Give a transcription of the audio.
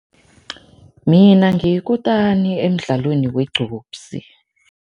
Mina ngiyikutani emdlalweni wugcupsi.